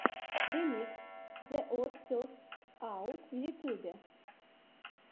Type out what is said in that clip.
ремикс зе од фестс аут в ютубе